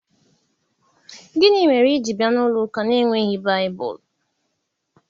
Gini mere i ji bia n'ulo uka n'enweghi Baibulu?